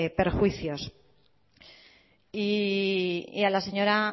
perjuicios y a la señora